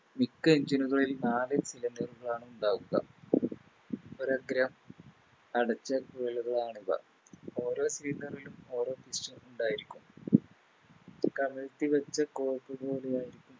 മിക്ക Engine നുകളിലും നാല് Cylinder കളാണ് ഉണ്ടാവുക ഒരഗ്രം അടച്ച ആണിവ ഓരോ ലും ഓരോ ഉം ഉണ്ടായിരിക്കും കമഴ്ത്തിവെച്ച പോലെയായിരിക്കും